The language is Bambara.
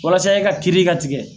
Walasa e ka kiri ka tigɛ.